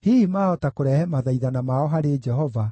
Hihi maahota kũrehe mathaithana mao harĩ Jehova,